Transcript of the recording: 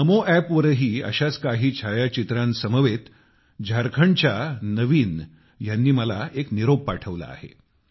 नमोएपवरही अशा च काही छायाचित्रांसमवेत झारखंडच्या नवीन ह्यांनी मला एक निरोप पाठविला आहे